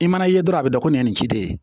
I mana ye dɔrɔn a bɛ dɔn ko nin ye nin ci de ye